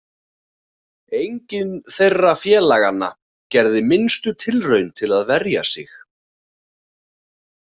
Enginn þeirra félaganna gerði minnstu tilraun til að verja sig.